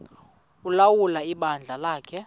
ulawula ibandla lakhe